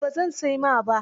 A'a ba zan sai ma ba.